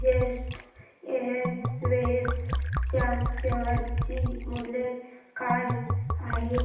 jet Airways च्या share चे मूल्य काय आहे